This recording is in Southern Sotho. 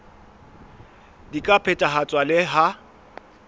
di ka phethahatswa le ha